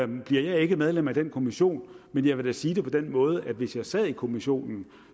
nu bliver jeg ikke medlem af den kommission men jeg vil sige det på den måde at hvis jeg sad i kommissionen